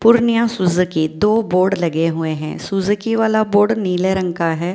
Purnia Suzuki दो board लगे हुए हैं सुजुकी वाला बोर्ड नीले रंग का है ।